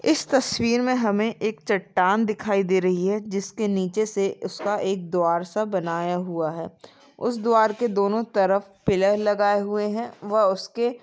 इस तस्वीर मे हमे एक चट्टान दिखाई दे रही है। जिसके नीचे से उसका एक द्वार सा बनाया हुआ है। उस द्वार के दोनों तरफ पिल्लर लगाए हुये है। वह उसके --